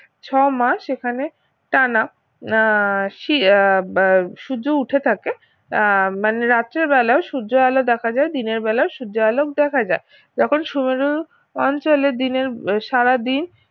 ছমাস এখানে টানা আহ শি আহ বা সূর্য উঠে থাকে আহ মানে রাত্রি বেলা সূর্যের আলো দেখা যায় দিনের বেলা সূর্যের আলো দেখা যায় যখন সুমেরু অঞ্চলে দিনের সারাদিন